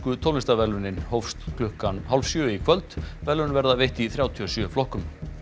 tónlistarverðlaunin hófst klukkan hálf sjö í kvöld verðlaun verða veitt í þrjátíu og sjö flokkum